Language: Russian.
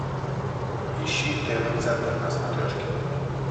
ищи тв центр на смотрешке